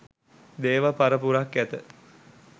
දේව පරපුරක් ඇත